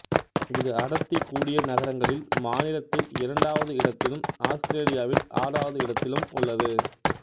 இது அடர்த்தி கூடிய நகரங்களில் மாநிலத்தில் இரண்டாவது இடத்திலும் ஆஸ்திரேலியாவில் ஆறாவது இடத்திலும் உள்ளது